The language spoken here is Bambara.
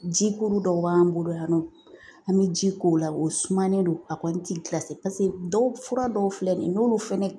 Jikuru dɔw b'an bolo yan nɔ an bi ji k'u la o sumalen don a kɔni ti gilase paseke dɔw, fura dɔw filɛ nin ye n'olu fɛnɛ